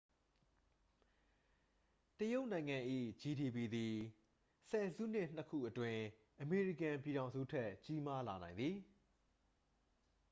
တရုတ်နိုင်ငံ၏ ဂျီဒီပီ သည် ဆယ်စုနှစ်နှစ်ခုအတွင်း အမေရိကန်ပြည်ထောင်စုထက် ကြီးမားလာနိုင်သည်